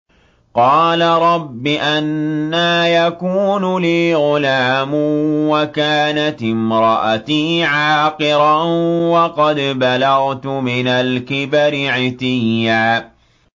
قَالَ رَبِّ أَنَّىٰ يَكُونُ لِي غُلَامٌ وَكَانَتِ امْرَأَتِي عَاقِرًا وَقَدْ بَلَغْتُ مِنَ الْكِبَرِ عِتِيًّا